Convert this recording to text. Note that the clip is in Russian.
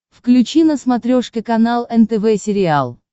включи на смотрешке канал нтв сериал